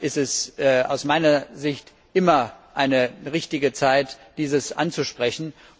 Daher ist es aus meiner Sicht immer eine richtige Zeit, dieses anzusprechen.